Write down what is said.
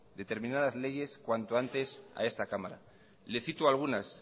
determinadas leyes cuanto antes a esta cámara le cito algunas